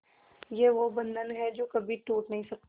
ये वो बंधन है जो कभी टूट नही सकता